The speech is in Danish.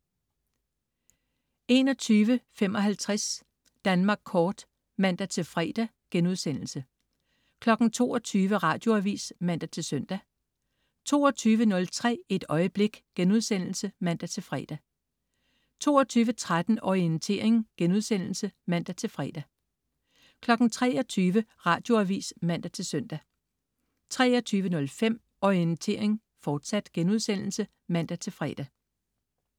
21.55 Danmark Kort* (man-fre) 22.00 Radioavis (man-søn) 22.03 Et øjeblik* (man-fre) 22.13 Orientering* (man-fre) 23.00 Radioavis (man-søn) 23.05 Orientering, fortsat* (man-fre)